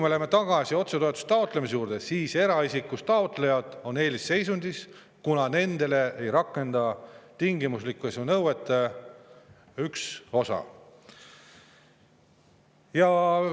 Läheme tagasi otsetoetuste taotlemise juurde: eraisikust taotlejad on eelisseisundis, kuna nende suhtes ei rakendu tingimuslikkuse nõuete üks osa.